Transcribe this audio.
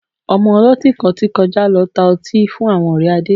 Ọmọ ọlọ́tí kan ti kọjá lọ tá ọtí fún àwọn ọ̀rẹ́ Adé